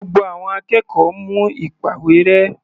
Gbogbo àwọn akẹ́kọ̀ọ́ mú ìpàwérẹ́.